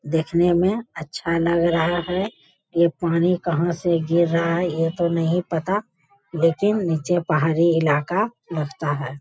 देखने में अच्छा लग रहा है। ये पानी कहाँ से गिर रहा है ये तो नहीं पता लेकिन निचे पहाड़ी इलाका लगता है।